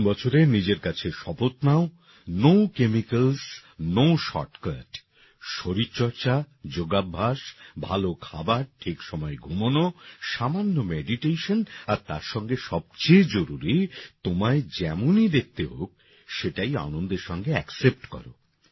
নতুন বছরে নিজের কাছে শপথ নাও নো কেমিক্যালস নো shortcut শরীর চর্চা যোগাভ্যাস ভালো খাবার ঠিক সময় ঘুমানো সামান্য মেডিটেশন আর তার সঙ্গে সবচেয়ে জরুরি তোমায় যেমনই দেখতে হোক সেটাই আনন্দের সঙ্গে অ্যাকসেপ্ট করো